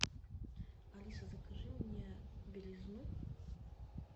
алиса закажи мне белизну